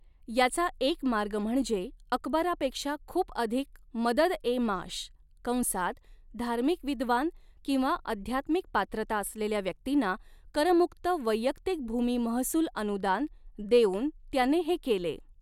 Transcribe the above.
याचा एक मार्ग म्हणजे अकबरापेक्षा खूप अधिक मदद ए माश कंसात धार्मिक विद्वान किंवा अध्यात्मिक पात्रता असलेल्या व्यक्तींना कर मुक्त वैयक्तिक भूमी महसूल अनुदान देऊन त्याने हे केले.